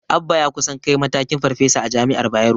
Abba ya kusan kai matakin Farfesa a jami'ar Bayero.